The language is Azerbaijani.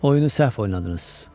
Oyunu səhv oynadınız.